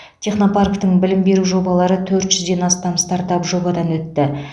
технопарктің білім беру жобалары төрт жүзден астам стартап жобадан өтті